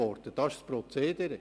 Das ist das Prozedere.